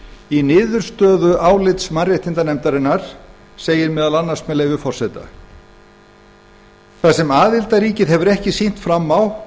í niðurstöðu álits mannréttindanefndarinnar segir að þar sem aðildarríkið það er ísland hafi ekki sýnt fram á